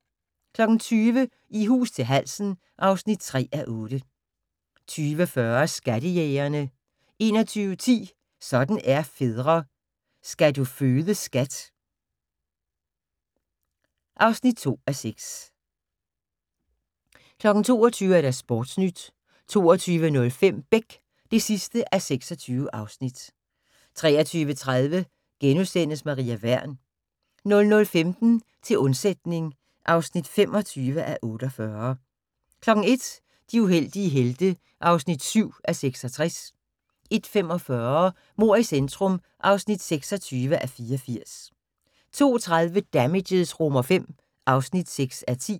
20:00: I hus til halsen (3:8) 20:40: Skattejægerne 21:10: Sådan er fædre - Skal du føde skat (2:6) 22:00: Sportnyt 22:05: Beck (26:26) 23:30: Maria Wern * 00:15: Til undsætning (25:48) 01:00: De heldige helte (7:66) 01:45: Mord i centrum (26:84) 02:30: Damages V (6:10)